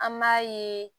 An b'a ye